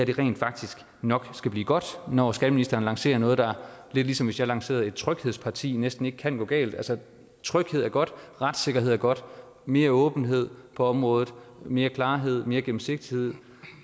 rent faktisk nok skal blive godt når skatteministeren lancerer noget der lidt ligesom hvis jeg lancerede et tryghedsparti næsten ikke kan gå galt altså tryghed er godt retssikkerhed er godt mere åbenhed på området mere klarhed mere gennemsigtighed